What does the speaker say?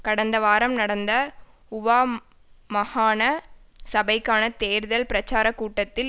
கடந்த வாரம் நடந்த ஊவா மாகாண சபைக்கான தேர்தல் பிரச்சார கூட்டத்தில்